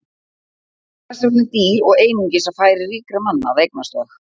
Þau voru þess vegna dýr og einungis á færi ríkra manna að eignast þau.